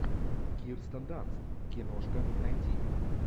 кирстен данст киношка найти